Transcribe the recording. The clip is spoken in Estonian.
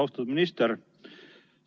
Austatud minister!